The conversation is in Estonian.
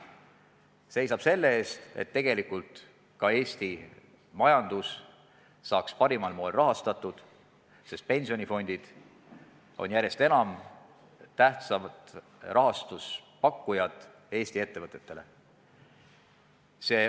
See seisab selle eest, et tegelikult ka Eesti majandus saaks parimal moel rahastatud, sest pensionifondid on järjest enam tähtsad rahastuse pakkujad Eesti ettevõtjatele.